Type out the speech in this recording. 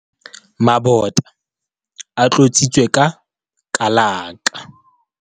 Mabota a tlotsitswe ka kalaka.